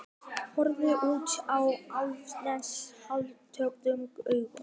Horfir út á Álftanes hálfluktum augum.